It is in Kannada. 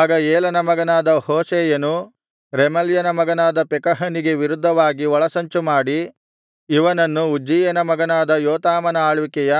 ಆಗ ಏಲನ ಮಗನಾದ ಹೋಶೇಯನು ರೆಮಲ್ಯನ ಮಗನಾದ ಪೆಕಹನಿಗೆ ವಿರುದ್ಧವಾಗಿ ಒಳಸಂಚು ಮಾಡಿ ಇವನನ್ನು ಉಜ್ಜೀಯನ ಮಗನಾದ ಯೋತಾಮನ ಆಳ್ವಿಕೆಯ